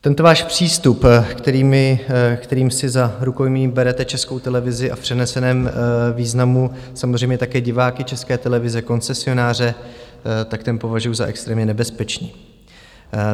Tento váš přístup, kterým si za rukojmí berete Českou televizi a v přeneseném významu samozřejmě také diváky České televize, koncesionáře, tak ten považuji za extrémně nebezpečný.